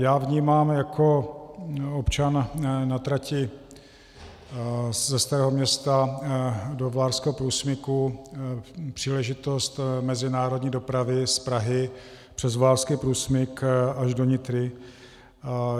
Já vnímám jako občan na trati ze Starého Města do Vlárského průsmyku příležitost mezinárodní dopravy z Prahy přes Vlárský průsmyk až do Nitry.